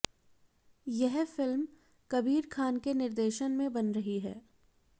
यह फिल्म कबीर खान के निर्देशन में बन रही है